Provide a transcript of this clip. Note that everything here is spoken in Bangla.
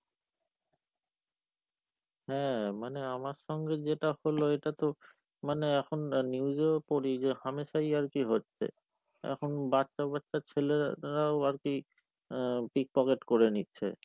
হ্যাঁ, মানে আমার সঙ্গে যেটা হলো এটা তো মানে এখন news এও পরি যে হামেশাই আর কি হচ্ছে . এখন বাচ্চা বাচ্চা ছেলেরাও আর কি আহ pickpocket করে নিচ্ছে।